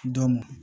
Dɔn